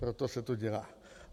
Proto se to dělá.